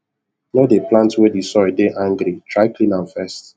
no dey plant where the soil dey angry try clean am first